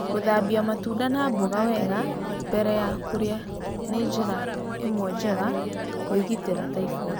Gũthambia matunda na mboga wega mbere ya kũrĩa nĩ njĩra ĩmwe njega ya kwĩgitĩra typhoid.